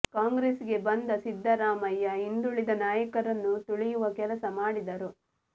ಕಾಂಗ್ರೆಸ್ ಗೆ ಬಂದ ಸಿದ್ದರಾಮಯ್ಯ ಹಿಂದುಳಿದ ನಾಯಕರನ್ನು ತುಳಿಯುವ ಕೆಲಸ ಮಾಡಿದರು